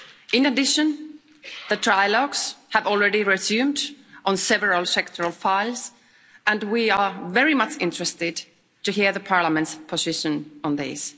In addition, the trilogues have already resumed on several sectoral files, and we are very much interested in hearing the Parliament's position on these.